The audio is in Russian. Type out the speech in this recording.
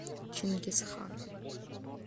чингисхан